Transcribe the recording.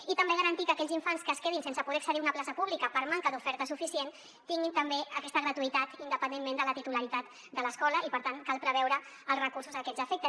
i també garantir que aquells infants que es quedin sense poder accedir a una plaça pública per manca d’oferta suficient tinguin també aquesta gratuïtat independentment de la titularitat de l’escola i per tant cal preveure els recursos a aquests efectes